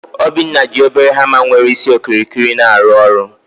Obinna ji obere hama nwere isi okirikiri arụ ọrụ